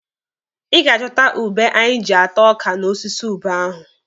Ị ga-achọta ube anyị ji ata ọka n'osisi ube ahụ.